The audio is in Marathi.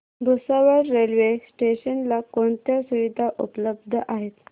भुसावळ रेल्वे स्टेशन ला कोणत्या सुविधा उपलब्ध आहेत